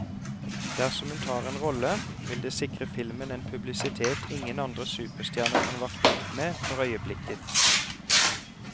Dersom hun tar en rolle, vil det sikre filmen en publisitet ingen andre superstjerner kan varte opp med for øyeblikket.